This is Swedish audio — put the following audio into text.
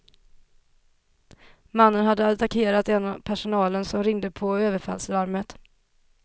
Mannen hade attackerat en av personalen, som ringde på överfallslarmet.